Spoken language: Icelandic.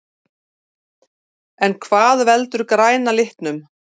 En hvað veldur græna litnum?